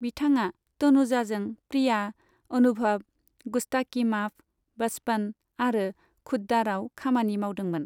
बिथाङा तनुजाजों प्रिया, अनुभव, गुस्ताकी माफ, बचपन आरो खुद दारआव खामानि मावदोंमोन।